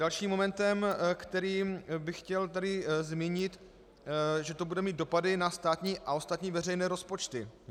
Dalším momentem, který bych chtěl tady zmínit, že to bude mít dopady na státní a ostatní veřejné rozpočty.